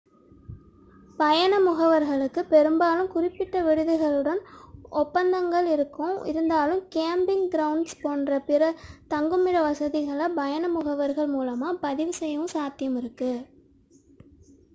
பயண முகவர்களுக்கு பெரும்பாலும் குறிப்பிட்ட விடுதிகளுடன் ஒப்பந்தங்கள் இருக்கும் இருந்தாலும் கேம்பிங் கிரவுண்ட்ஸ் போன்ற பிற தங்குமிட வசதிகளை பயண முகவர்கள் மூலமாக பதிவு செய்யவும் சாத்தியமுள்ளது